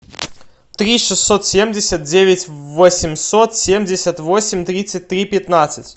три шестьсот семьдесят девять восемьсот семьдесят восемь тридцать три пятнадцать